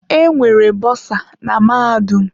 Enwere bosa na mahadum.